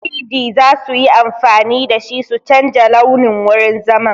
3-D za su yi amfani da shi su canja launin wurin zaman.